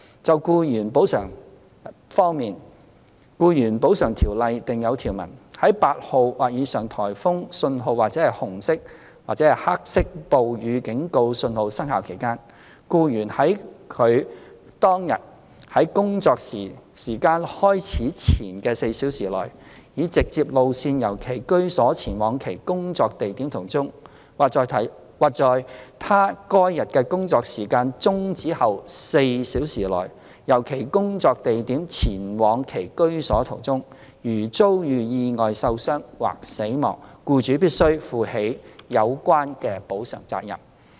就僱員補償保障方面，《僱員補償條例》訂有條文，在8號或以上颱風信號或紅色/黑色暴雨警告信號生效期間，僱員在他該日的工作時間開始前4小時內，以直接路線由其居所前往其工作地點途中，或在他該日的工作時間終止後4小時內，由其工作地點前往其居所途中，如遭遇意外受傷或死亡，僱主亦須負起有關的補償責任。